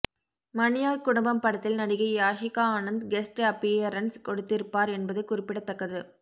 மணியார் குடும்பம் படத்தில் நடிகை யாஷிகா ஆனந்த் கெஸ்ட் அப்பீயரன்ஸ் கொடுத்திருப்பார் என்பது குறிப்பிடத்தக்கது